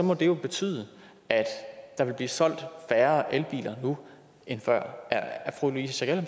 må det jo betyde at der vil blive solgt færre elbiler nu end før er fru louise